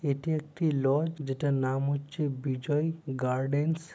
এটি একটি লজ যেটার নাম হচ্ছে বিজই গার্ডেনস ।